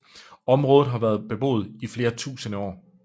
Området har været beboet i flere tusinde år